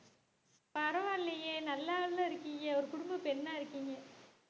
பரவாயில்லையே நல்லால்ல இருக்கீங்க ஒரு குடும்பப் பெண்ணா இருக்கீங்க